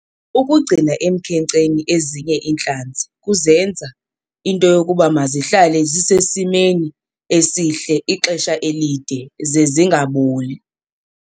Ukugcina emkhenkceni ezinye iintlanzi kuzenza into yokuba mazihlale zisesimeni esihle ixesha elide ze zingaboli.